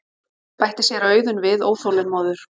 bætti séra Auðunn við óþolinmóður.